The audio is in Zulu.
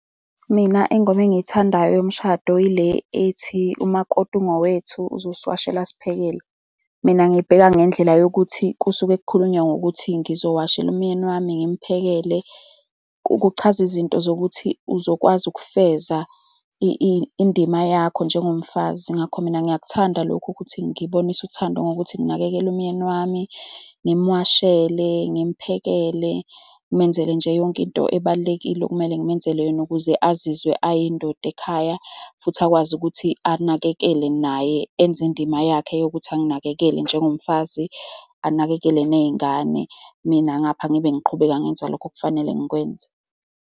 Mina ingoma engiyithandayo yomshado yile ethi umakoti ungowethu, uzongiwashela asiphekele. Mina ngibheka ngendlela yokuthi kusuke kukhulunywa ngokuthi ngizokuwashela umyeni wami ngimphakele. Kuchaza izinto zokuthi uzokwazi ukufeza indima yakho njengomfazi. Ngakho mina ngiyakuthanda lokhu, ukuthi ngibonise uthando ngokuthi nginakekele umyeni wami ngimuwashele, ngimphekele. Ngimenzele nje yonke into ebalulekile okumele ngimenzele yona, ukuze azizwe ayindoda ekhaya. Futhi akwazi ukuthi anakekele naye enze indima yakhe yokuthi anginakekele njengomfazi, anakekele ney'ngane. Mina ngapha ngibe ngiqhubeka ngenza lokhu okufanele ngikwenze.